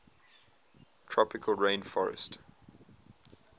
tropical rain forestt